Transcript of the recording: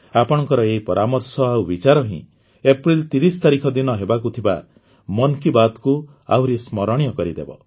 ଆପଣଙ୍କର ଏହି ପରାମର୍ଶ ଆଉ ବିଚାର ହିଁ ଏପ୍ରିଲ ୩୦ ତାରିଖ ଦିନ ହେବାକୁ ଥିବା ମନ୍ କି ବାତ୍କୁ ଆହୁରି ସ୍ମରଣୀୟ କରିଦେବ